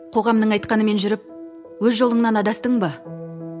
қоғамның айтқанымен жүріп өз жолыңнан адастың ба